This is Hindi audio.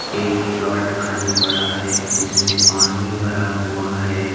एक प्लाट खाली पड़ा हुआ है जिसमें पानी भरा हुआ है।